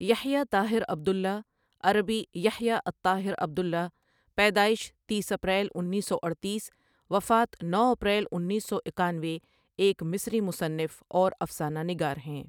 یحیی Taher Abdullah عربی Yahya Taher Abdullah پیدائش تیس اپریل انیس سو اڈتیس وفات نو اپریل انیس سو اکانوے ایک مصری مصنف اور افسانہ نگار ہیں.